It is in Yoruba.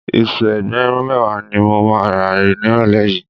Iṣu ẹgbẹ̀rún mẹ́wàá ni mo máa rà nírọ̀lẹ́ yìí